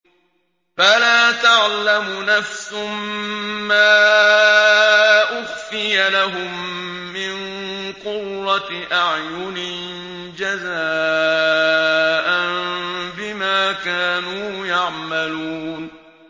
فَلَا تَعْلَمُ نَفْسٌ مَّا أُخْفِيَ لَهُم مِّن قُرَّةِ أَعْيُنٍ جَزَاءً بِمَا كَانُوا يَعْمَلُونَ